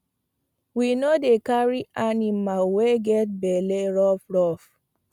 we no dey carry aniamal wey get belle rough rough